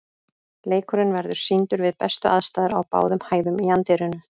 Leikurinn verður sýndur við bestu aðstæður á báðum hæðum í anddyrinu.